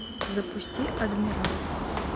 запусти адмирал